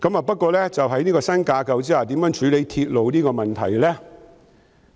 不過，在新架構下如何處理鐵路的問題？